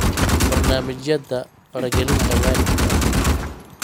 Barnaamijyada Faragelinta Waalidka